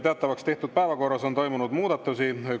Teatavaks tehtud päevakorras on toimunud muudatusi.